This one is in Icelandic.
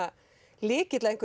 lykill að einhvejru